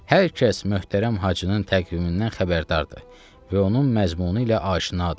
Hər kəs möhtərəm Hacının təqvimindən xəbərdardır və onun məzmunu ilə aşinadır.